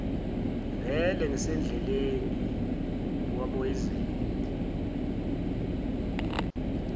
vele ngisendleleni wamoyizela